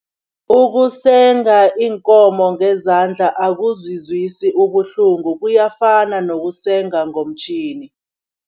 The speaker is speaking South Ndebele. Ukusenga iinkomo ngezandla akuzizwisi ubuhlungu kuyafana nokusenza ngomtjhini.